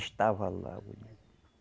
Estava lá, olha.